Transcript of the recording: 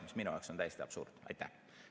See on minu jaoks täiesti absurdne.